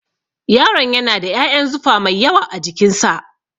Yaron yana da ƴaƴan zufa mai yawa a jikin sa